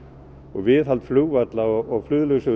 viðhald flugvalla og